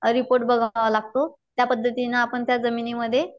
report बघावा लागतो त्या पद्धतीने आपण त्या जमिनीमध्ये